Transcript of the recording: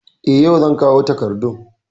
Eh, yau zan kawo takardun